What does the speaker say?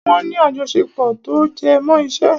Wọ́n ní àjọṣepọ̀ tó jẹmọ́ iṣẹ́.